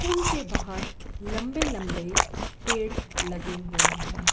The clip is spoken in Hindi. पूल बाहर लंबे लंबे पेड़ लगे हुए है।